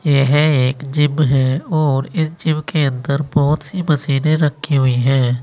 यह एक जिम है और इस जिम के अंदर बहुत सी मशीनें रखी हुई है।